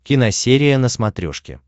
киносерия на смотрешке